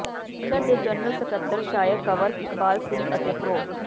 ਕੇਂਦਰ ਦੇ ਜਨਰਲ ਸਕੱਤਰ ਸ਼ਾਇਰ ਕੰਵਰ ਇਕਬਾਲ ਸਿੰਘ ਅਤੇ ਪ੍ਰੋ